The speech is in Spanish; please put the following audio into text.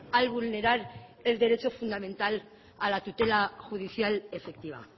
al vulnerar el derecho fundamental a la tutela judicial efectiva